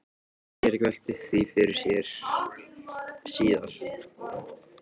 Friðrik velti því fyrir sér síðar.